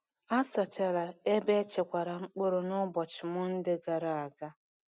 A sachara ebe e chekwara mkpụrụ n’ụbọchị Mọnde gara aga.